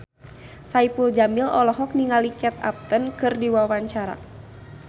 Saipul Jamil olohok ningali Kate Upton keur diwawancara